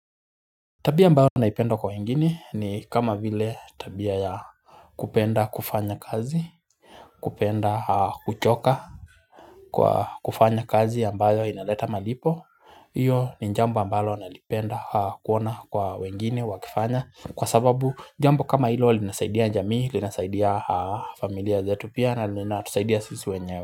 Tabia ambayo naipenda kwa wengine ni kama vile tabia ya kupenda kufanya kazi kupenda kuchoka Kwa kufanya kazi ambayo inaleta malipo Iyo ni jambo ambalo nalipenda kuona kwa wengine wakifanya Kwa sababu jambo kama hilo linasaidia jamii linasaidia familia zetu pia na linatusaidia sisi wenyewe.